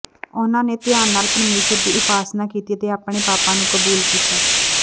ਉਨ੍ਹਾਂ ਨੇ ਧਿਆਨ ਨਾਲ ਪਰਮੇਸ਼ੁਰ ਦੀ ਉਪਾਸਨਾ ਕੀਤੀ ਅਤੇ ਆਪਣੇ ਪਾਪਾਂ ਨੂੰ ਕਬੂਲ ਕੀਤਾ